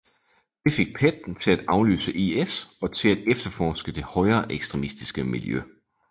Det fik PET til at aflytte IS og til at efterforske det højreekstremistiske miljø